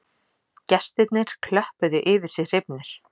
Gestirnir klöppuðu yfir sig hrifnir